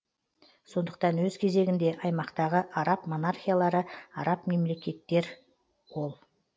сондықтан өз кезегінде аймақтағы араб монархиялары араб мемлекеттер ол